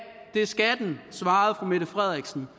det skal den svarede fru mette frederiksen